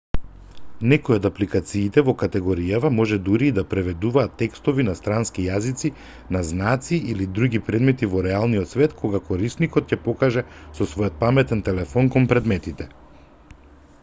некои од апликациите во категоријава може дури и да преведуваат текстови на странски јазици на знаци или други предмети во реалниот свет кога корисникот ќе покаже со својот паметен телефон кон предметите